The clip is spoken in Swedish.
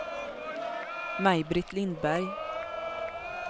Maj-Britt Lindberg